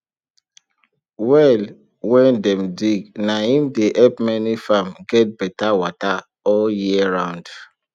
well wen dem dig na im dey help many farm get betta wata all year round